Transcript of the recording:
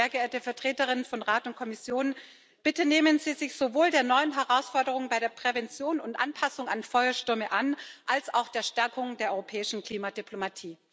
Deshalb, sehr geehrte Vertreterinnen und Vertreter von Rat und Kommission Bitte nehmen Sie sich sowohl der neuen Herausforderung bei der Prävention und Anpassung an Feuerstürme an als auch der Stärkung der europäischen Klimadiplomatie.